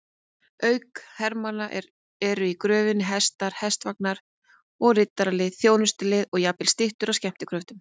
Auk hermanna eru í gröfinni hestar, hestvagnar og riddaralið, þjónustulið og jafnvel styttur af skemmtikröftum.